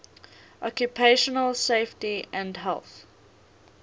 occupational safety and health